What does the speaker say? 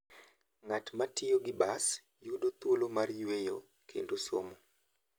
Ng'at ma tiyo gi bas yudo thuolo mar yueyo kendo somo.